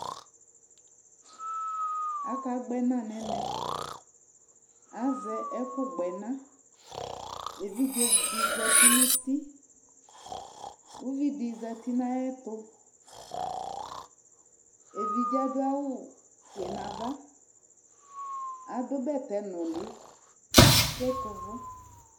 akagbẽna nɛmẽ azɛ ẽku gbɔd